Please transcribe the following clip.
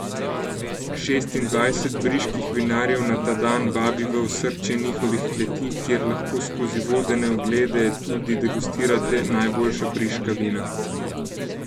Šestindvajset briških vinarjev na ta dan vabi v osrčje njihovih kleti, kjer lahko skozi vodene oglede tudi degustirate najboljša briška vina.